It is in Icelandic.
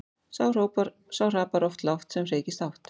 Sá hrapar oft lágt sem hreykist hátt.